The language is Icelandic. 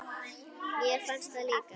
Mér fannst það líka.